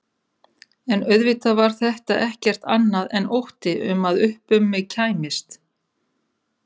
En auðvitað var þetta ekkert annað en ótti um að upp um mig kæmist.